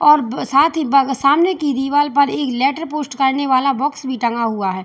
और ब साथ ही सामने की दीवाल पर एक लेटर पोस्ट करने वाला बॉक्स भी टंगा हुआ है।